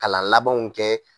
Kalan labanw kɛ